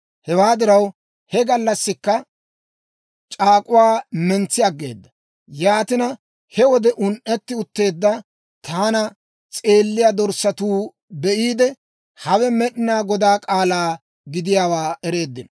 Hewaa diraw, he gallassikka c'aak'uwaa mentsi aggeeda; yaatina, he wode un"etti utteedda taana s'eeliyaa dorssatuu be'iide, hawe Med'inaa Godaa k'aalaa gidiyaawaa ereeddino.